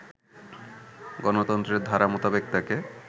গঠনতন্ত্রের ধারা মোতাবেক তাকে